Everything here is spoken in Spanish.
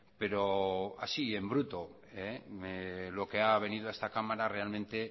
pero así en bruto lo que ha venido a esta cámara realmente